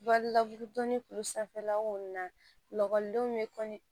Balila dɔni kuru sanfɛla wo na lakɔlidenw be kɔnɔ